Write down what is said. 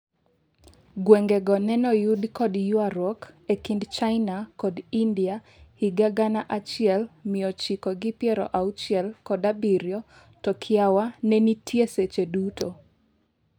gwengego nenoyud kod ywaruok e kind China kod India higa gana achiel miochiko gi piero auchiel kod abiriyo to kiawa nenitie seche duto.